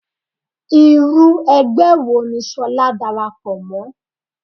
Irú ẹgbẹ́ wo ni ṣolá dàràpọ̀ mọ́?